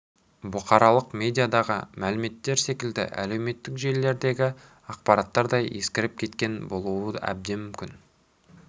бұқаралық медиадағы мәліметтер секілді әлеуметтік желілердегі ақпараттар да ескіріп кеткен болуы әбден мүмкін